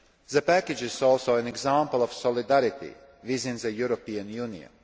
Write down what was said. The package is also an example of solidarity within the European Union.